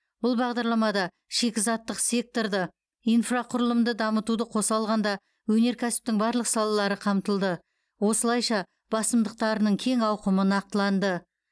бұл бағдарламада шикізаттық сеткорды инфрақұрылымды дамытуды қоса алғанда өнеркәсіптің барлық салалары қамтылды осылайша басымдықтарының кең ауқымы нақтыланды